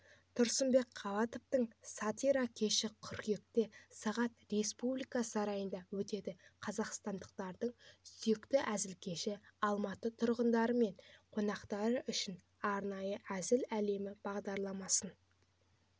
тұрсынбек қабатовтың сатира кеші қыркүйекте сағат республика сарайында өтеді қазақстандықтардың сүйікті әзілкеші алматы тұрғындары мен қонақтары үшін арнайы әзіл әлемі бағдарламасын